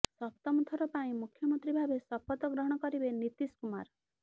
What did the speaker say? ସପ୍ତମ ଥର ପାଇଁ ମୁଖ୍ୟମନ୍ତ୍ରୀ ଭାବେ ଶପଥ ଗ୍ରହଣ କରିବେ ନୀତୀଶ କୁମାର